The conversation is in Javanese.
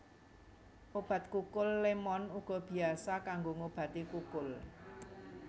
Obat kukul lémon uga biasa kanggo ngobati kukul